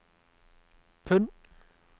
pund